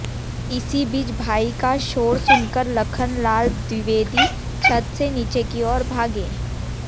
इसी बीच भाई का शोर सुनकर लखन लाल द्विवेदी छत से नीचे की ओर भागे